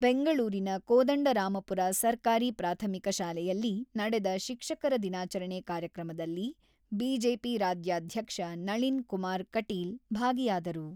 ಬೆಂಗಳೂರಿನ ಕೋದಂಡರಾಮಪುರ ಸರ್ಕಾರಿ ಪ್ರಾಥಮಿಕ ಶಾಲೆಯಲ್ಲಿ ನಡೆದ ಶಿಕ್ಷಕರ ದಿನಾಚರಣೆ ಕಾರ್ಯಕ್ರಮದಲ್ಲಿ ಬಿಜೆಪಿ ರಾಜ್ಯಾಧ್ಯಕ್ಷ ನಳಿನ್ ಕುಮಾರ್ ಕಟೀಲ್ ಭಾಗಿಯಾದರು.